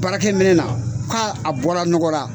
Baarake minɛna k'a bɔra nɔgɔra..